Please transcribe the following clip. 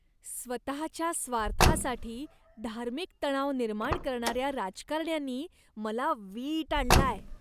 स्वतःच्या स्वार्थासाठी धार्मिक तणाव निर्माण करणाऱ्या राजकारण्यांनी मला वीट आणलाय.